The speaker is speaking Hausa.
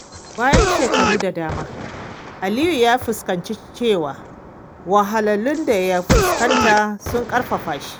Bayan shekaru da dama, Aliyu ya fahimci cewa wahalhalun da ya fuskanta sun ƙarfafa shi.